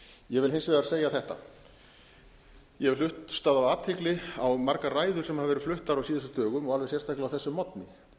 ég vil hins vegar segja þetta ég hef hlustað af athygli á margar ræður sem hafa verið fluttar á síðustu dögum og alveg sérstaklega á þessum morgni